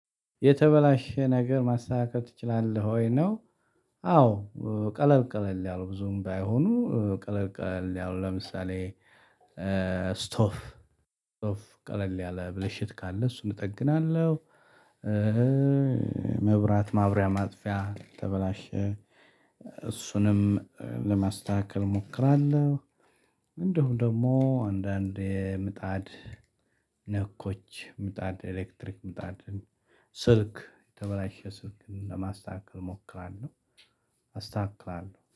የተበላሸ ነገር ማስተካከል ትችላለህ ወይ ነው? አዎ ቀለል ቀለል ያሉ ብዙም ባይሆኑ ቀለል ቀለል ያሉ ለምሳሌ ስቶፍ ስቶፍ ቀለል ያለ ብልሽት ካለ እሱን እጠግናለሁ። መብራት ማብሪያ ማጥፊያ ተበላሸ እሱንም ለማስተካከል እሞክራለሁ። እንደውም ደግሞ አንዳንድ የምጣድ ነኮች ምጣድ ኤሌክትሪክ ምጣድ ስልክ የተበላሸ ስልክን ለማስተካከል እሞክራለሁ። አስተካክላለሁ